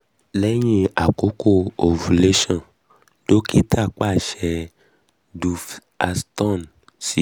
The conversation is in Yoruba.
lẹyin akoko ovulation dokita paṣẹ duphaston si